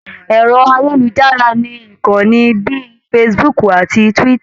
Ẹ̀rọ-ayélujára ní ìkanni bíi Facebook àti Twitter.